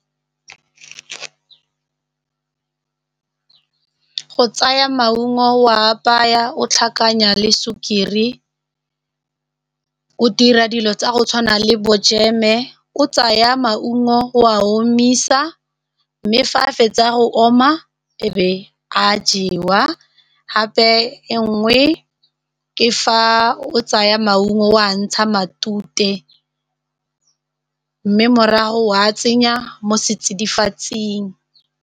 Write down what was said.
Go tsaya maungo o a apaya o tlhakanya le sukiri, o dira dilo tsa go tshwana le bo jeme o tsaya maungo o a omisa mme fa a fetsa go oma e be a jewa gape e nngwe ke fa o tsaya maungo o a ntsha matute mme morago wa tsenya mo setsidifatsing.